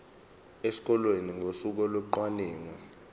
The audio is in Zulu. esikoleni ngosuku locwaningo